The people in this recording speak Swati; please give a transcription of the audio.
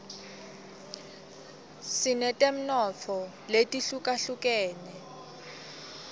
sinetemnotfo letihlukahlukenus